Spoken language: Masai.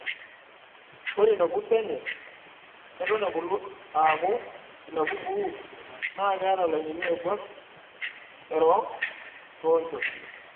Ore ina kurto enye Eton ebulu aaku ina kukuu naa keeta ilainini ooiborr erook toonchot.